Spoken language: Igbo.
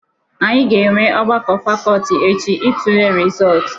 Anyị ga-enwe ọgbakọ fakọlti echi itule rịzọtụ.